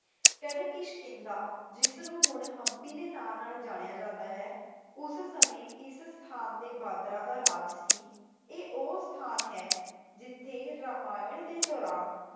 ਕਹਿੰਦੇ ਕਿਸ਼ਕਿੰਧਾ ਜਿਸਨੂੰ ਹੁਣ ਹੰਪੀ ਦੇ ਨਾਂ ਨਾਲ ਜਾਣਿਆ ਜਾਂਦਾ ਹੈ, ਉਸ ਸਮੇ ਇਸ ਸਥਾਨ ਤੇ ਬਾਂਦਰਾਂ ਦਾ ਰਾਜ ਸੀ। ਇਹ ਉਹ ਸਥਾਨ ਹੈ ਜਿਥੇ ਰਾਮਾਇਣ ਦੇ ਦੌਰਾਨ